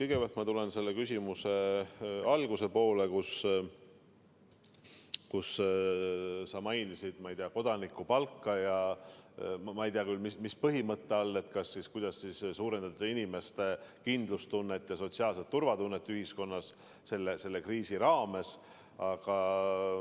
Kõigepealt ma tulen selle küsimuse alguse juurde, kus sa mainisid kodanikupalka ja ma ei tea küll, mis põhimõtet sa silmas pidasid, et kuidas suurendada inimeste kindlustunnet ja sotsiaalset turvatunnet ühiskonnas selle kriisi ajal.